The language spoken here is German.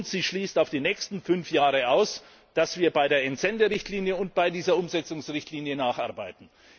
Und sie schließt auf die nächsten fünf Jahre aus, dass wir bei der Entsenderichtlinie und bei dieser Umsetzungsrichtlinie nacharbeiten.